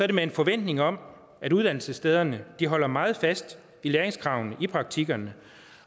det med en forventning om at uddannelsesstederne holder meget fast i læringskravene i praktikkerne